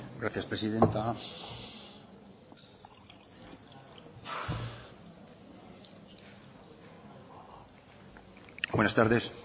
gracias presidenta buenas tardes